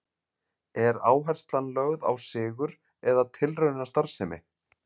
Er áherslan lögð á sigur eða tilraunastarfsemi?